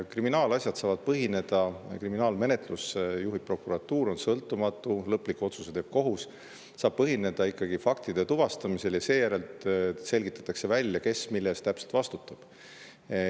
Kriminaalasjad saavad põhineda – kriminaalmenetlust juhib prokuratuur, mis on sõltumatu, lõpliku otsuse teeb kohus – ikkagi faktide tuvastamisel ja seejärel selgitatakse välja, kes mille eest täpselt vastutab.